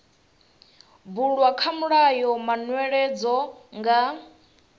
bulwa kha mulayo manweledzo nga